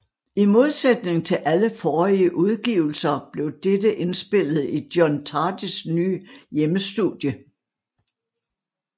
I modsætning til alle forrige udgivelser blev dette indspillet i John Tardys nye hjemmestudie